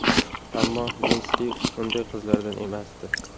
Ammo Linsdi unday qizlardan emasdi.